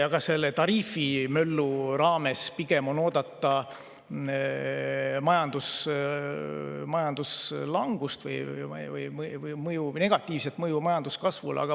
Ka selle tariifimöllu raames on oodata pigem majanduslangust või negatiivset mõju majanduskasvule.